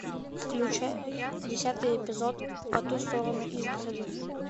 включай десятый эпизод по ту сторону изгороди